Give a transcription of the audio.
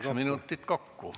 Kaheksa minutit kokku.